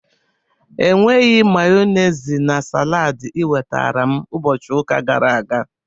Enweghị Mayonezi na salad ị wetara m ụbọchị ụka gara aga.